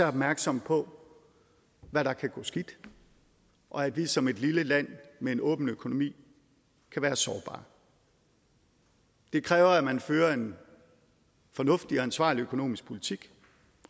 opmærksomme på hvad der kan gå skidt og at vi som et lille land med en åben økonomi kan være sårbare det kræver at man fører en fornuftig og ansvarlig økonomisk politik